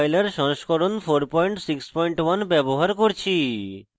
g ++ compiler সংস্করণ 461 ব্যবহার করছি